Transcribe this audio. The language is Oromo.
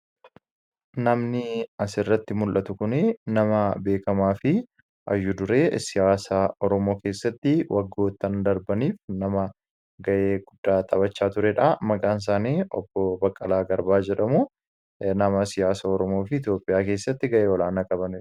Namni asirratti mul'atu kun nama beekamaa fi hayyu-duree siyaasaa Oromoo keessatti nama gahee guddaa taphachaa turedha. Maqaan isaanii Obbo Baqqalaa Garbaa jedhamu. Nama siyaasa Oromoo fi Itoophiyaa keessatti gahee guddaa qabanidha.